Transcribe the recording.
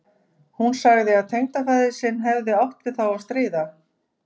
Hún sagði að tengdafaðir sinn hefði átt við þá að stríða.